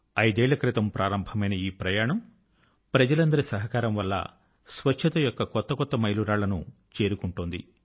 అయిదేళ్ళ క్రితం ప్రారంభమైన ఈ ప్రయాణం జనులందరి సహకారం వలన స్వచ్ఛత యొక్క కొత్త కొత్త మైలురాళ్ళను చేరుకుంటున్నది